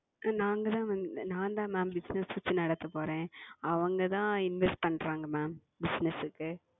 நாங்கள் தான் வந்து நான் தான் Ma'amBussiness வச்சி நடத்த போறேன். அவங்க தான் Invest பண்றாங்க Ma'amBusiness க்கு.